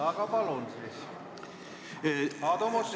Aga palun, Aadu Must!